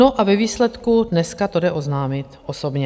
No a ve výsledku dneska to jde oznámit osobně.